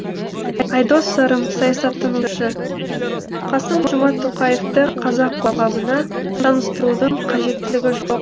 айдос сарым саясаттанушы қасым жомарт тоқаевты қазақ қоғамына таныстырудың қажеттілігі жоқ